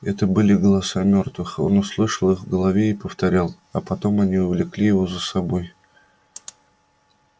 это были голоса мёртвых он услышал их в голове и повторял а потом они увлекли его за собой